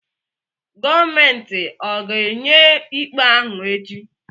Gọọmenti ọ̀ ga-enye ikpe ahụ echi?